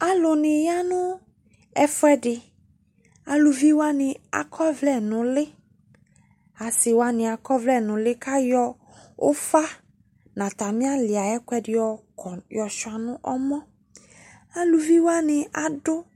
Alu ne ya no ɛfuɛde Aluvi wane akɔ ɔvlɛ no ule Ase wane akɔ ɔvlɛ ule ko ayɔ ufa no atane ale aye kuɛde yɔ kɔ, yɔ sua no ɔmɔ, Aluvi wane ado